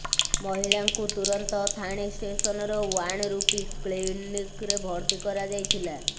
ମହିଳାଙ୍କୁ ତୁରନ୍ତ ଥାଣେ ଷ୍ଟେସନର ୱାନ ରୁପି କ୍ଳିନିକ୍ ରେ ଭର୍ତ୍ତି କରାଯାଇଥିଲା